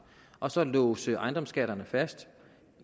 og så låse ejendomsskatterne fast